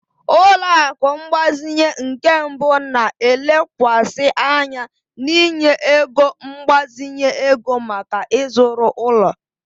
Ụlọ akụ mgbazinye nke mbụ na-elekwasị anya n'inye ego mgbazinye ego maka ịzụrụ ụlọ.